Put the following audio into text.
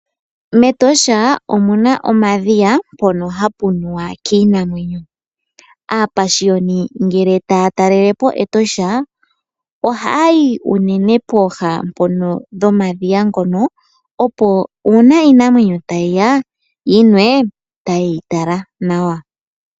MEtosha omuna omadhiya mpoka hapu nuwa kiinamwenyo, aapashiyoni ngele taya talelepo Etosha ohaya yi unene pooha nomadhiya ngoka opo uuna iinamwneyo tayiya yinwe, yo taye yi tala nawa.